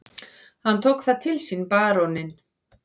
Hann tók það til sínBaróninn